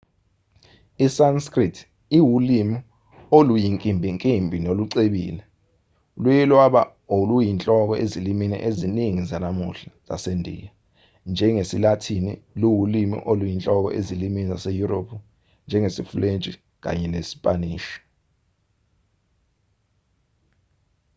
i-sanskrit iwulimi oluyinkimbinkimbi nolucebile luye lwaba oluyinhloko ezilimini eziningi zanamuhla zasendiya njengesi-lathini luwulimi oluyinhloko ezilimini zaseyurophu njengesifulentshi kanye nesipanishi